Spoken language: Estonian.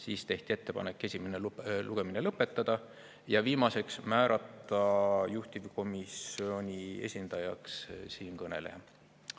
Siis tehti ettepanek esimene lugemine lõpetada ja viimaseks, määrata juhtivkomisjoni esindajaks siinkõneleja.